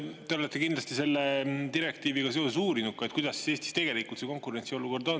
Te olete kindlasti selle direktiiviga seoses uurinud, kuidas Eestis tegelikult see konkurentsiolukord on.